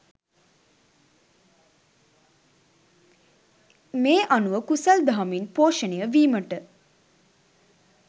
මේ අනුව කුසල් දහමින් පෝෂණය වීමට